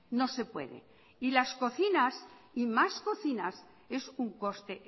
las cocinas y más cocinas es un coste